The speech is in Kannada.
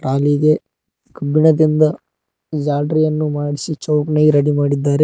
ಟ್ರಾಲಿಗೆ ಕಬ್ಬಿಣದಿಂದ ಜಾಲ್ರಿಯನ್ನು ಮಾಡ್ಸಿ ಚೌಕನ್ಯಾಗ ರೆಡಿ ಮಾಡಿದ್ದಾರೆ.